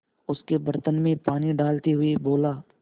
उसके बर्तन में पानी डालते हुए बोला